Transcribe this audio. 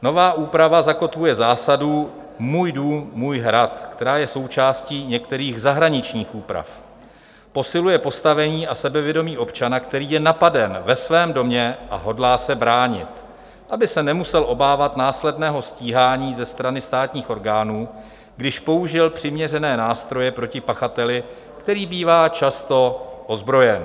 Nová úprava zakotvuje zásadu "můj dům, můj hrad", která je součástí některých zahraničních úprav, posiluje postavení a sebevědomí občana, který je napaden ve svém domě a hodlá se bránit, aby se nemusel obávat následného stíhání ze strany státních orgánů, když použil přiměřené nástroje proti pachateli, který bývá často ozbrojen.